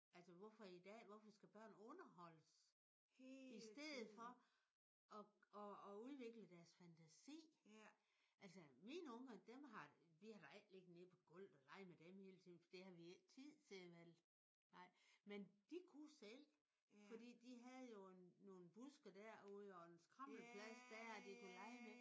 Altså hvorfor i dag hvorfor skal børn underholdes? I stedet for at at at udvikle deres fantasi? Altså mine unger dem har vi har da ikke ligget nede på gulvet og leget med dem hele tiden. For det havde vi ikke tid til vel? Nej. Men de kunne selv fordi de havde jo nogle buske derude og en skrammelplads der de kunne lege med